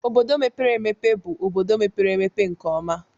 obodo mepere emepe bụ obodo mepere emepe nke ọma.